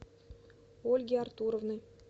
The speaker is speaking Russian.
ольги артуровны